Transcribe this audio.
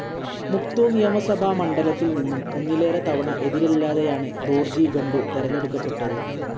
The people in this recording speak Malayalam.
മുക്തോ നിയമസഭാ മണ്ഡലത്തിൽ നിന്നും ഒന്നിലേറെ തവണ എതിരില്ലാതെയാണ് ദോർജി ഖണ്ഡു തെരഞ്ഞെടുക്കപ്പെട്ടത്.